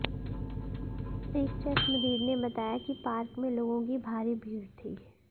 एक चश्मदीद ने बताया कि पार्क में लोगों की भारी भीड़ थी